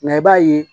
i b'a ye